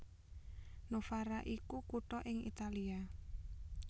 Novara iku kutha ing Italia